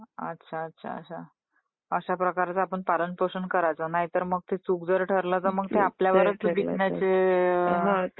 अच्छा, अच्छा, अच्छा. अशा प्रकारे आपण पालन पोषण करायच नाही तर मग ते चूक जर ठरल तर मग ते आपल्यावरच ते बेतण्याचे ....